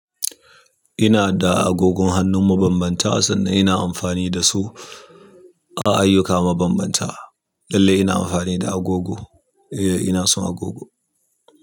Ina da agogon hannu mabanbanta, sannan ina amfani dasu a ayyuka mabambanta. Lallai ina amfani da agogo. Eh, ina son agogo.